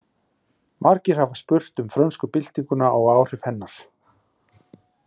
Margir hafa spurt um frönsku byltinguna og áhrif hennar.